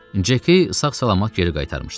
Ceki sağ-salamat geri qaytarmışdılar.